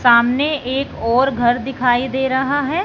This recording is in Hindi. सामने एक और घर दिखाई दे रहा हैं।